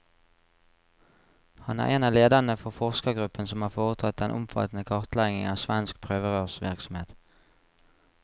Han er en av lederne for forskergruppen som har foretatt den omfattende kartleggingen av svensk prøverørsvirksomhet.